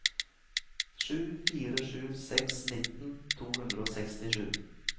sju fire sju seks nittien to hundre og sekstisju